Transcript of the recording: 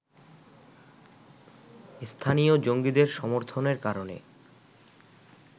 স্থানীয় জঙ্গিদের সমর্থনের কারণে